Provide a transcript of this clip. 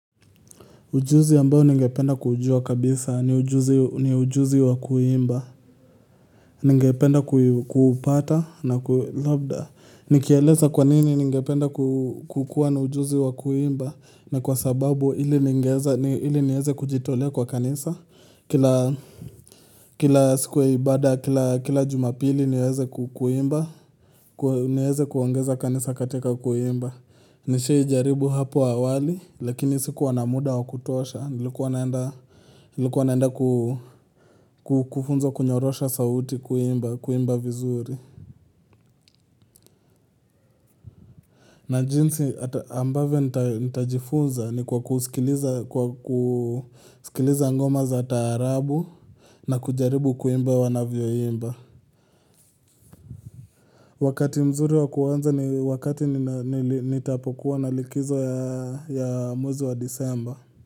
Ujuzi ambao ningependa kujua kabisa ni ujuzi wa kuimba. Ningependa kuupata na labda. Nikieleza kwanini ningependa kukuwa na ujuzi wa kuimba na kwa sababu ili niweze kujitolea kwa kanisa. Kila siku ya ibada, kila jumapili niweze kuimba, niweze kuongoza kanisa katika kuimba. Nimewahi jaribu hapo awali, lakini sikuwa na muda wa kutosha, nilikuwa naenda kufunzwa kunyorosha sauti kuimba vizuri. Na jinsi ambavyo nitajifunza ni kwa kusikiliza ngoma za taarabu na kujaribu kuimba wanavyo imba. Wakati mzuri wa kuanza ni wakati nitapokuwa na likizo ya mwezi wa disemba.